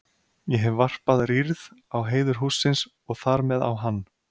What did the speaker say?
Ég hef varpað rýrð á heiður hússins og þar með á hann.